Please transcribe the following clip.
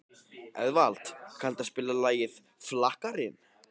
Eðvald, kanntu að spila lagið „Flakkarinn“?